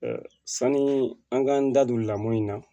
sanni an k'an da don lamɔ in na